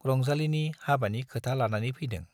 रंजालीनि हाबानि खोथा लानानै फैदों।